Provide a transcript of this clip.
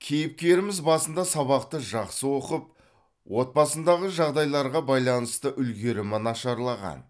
кейіпкеріміз басында сабақты жақсы оқып отбасындағы жағдайларға байланысты үлгерімі нашарлаған